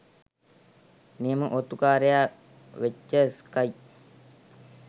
නියම ඔත්තුකාරයා වෙච්ච ස්කයි